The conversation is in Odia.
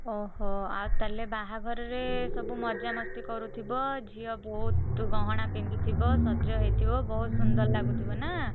ଓହୋ ଆଉ ତାହେଲେ ବାହାଘରରେ ସବୁ ମଜାମସ୍ତି କରୁଥିବ ଝିଅ ବହୁତ୍ ଗହଣା ପିନ୍ଧିଥିବ ସଜ ହେଇଥିବ ବହୁତ୍ ସୁନ୍ଦର ଲାଗୁଥିବ ନା?